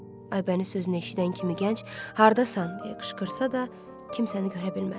Aybəniz sözünü eşidən kimi gənc haradasan deyə qışqırsa da, kimsəni görə bilmədi.